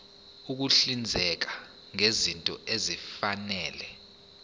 ukuhlinzeka ngezinto ezifanele